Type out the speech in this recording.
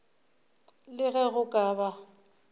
le ge go ka ba